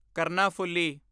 Karnaphuli